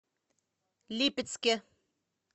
липецке